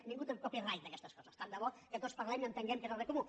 ningú té un copyrighttant de bo que tots parlem i entenguem què és el bé comú